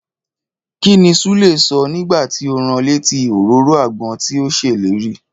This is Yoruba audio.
Kíní Súlè sọ nígbàtí o rán létí òróró àgbọn tí ọ ṣèlérí?